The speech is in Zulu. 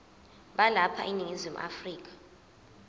balapha eningizimu afrika